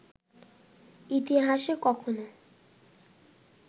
ইতিহাসে কখনো